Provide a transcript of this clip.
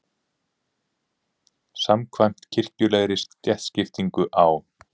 Samkvæmt kirkjulegri stéttaskiptingu á